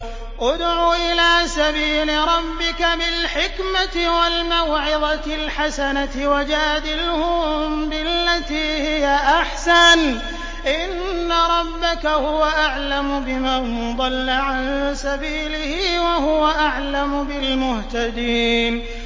ادْعُ إِلَىٰ سَبِيلِ رَبِّكَ بِالْحِكْمَةِ وَالْمَوْعِظَةِ الْحَسَنَةِ ۖ وَجَادِلْهُم بِالَّتِي هِيَ أَحْسَنُ ۚ إِنَّ رَبَّكَ هُوَ أَعْلَمُ بِمَن ضَلَّ عَن سَبِيلِهِ ۖ وَهُوَ أَعْلَمُ بِالْمُهْتَدِينَ